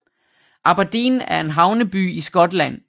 Aberdeen er en havneby i Skotland